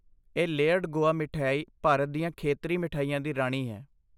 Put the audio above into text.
ਇਹ ਲੇਅਰਡ ਗੋਆ ਮਠਿਆਈ ਭਾਰਤ ਦੀਆਂ ਖੇਤਰੀ ਮਿਠਾਈਆਂ ਦੀ ਰਾਣੀ ਹੈ।